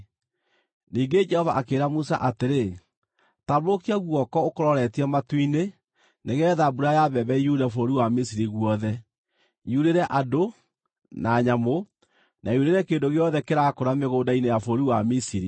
Ningĩ Jehova akĩĩra Musa atĩrĩ, “Tambũrũkia guoko ũkũroretie matu-inĩ nĩgeetha mbura ya mbembe yure bũrũri wa Misiri guothe; yurĩre andũ, na nyamũ na yurĩre kĩndũ gĩothe kĩrakũra mĩgũnda-inĩ ya bũrũri wa Misiri.”